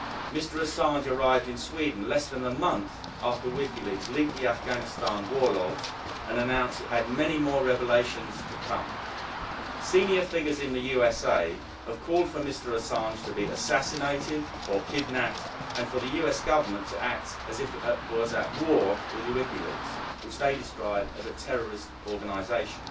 Mr Assange arrived in Sweden less than a month after WikiLeaks leaked the Afghanistan war logs and announced it had many more revelations to come. Senior figures in the USA have called for Mr Assange to be assassinated or kidnapped, and for the US Government to act as if it were at war with WikiLeaks, which they describe as a terrorist organisation.